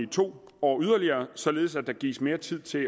to år således at der gives mere tid til at